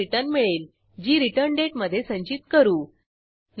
नंतर ही रिक्वेस्ट आपण रिक्वेस्टडिस्पॅचर द्वारे successcheckoutजेएसपी कडे पाठवू